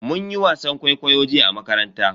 Mun yi wasan kwaikwayo jiya a makaranta.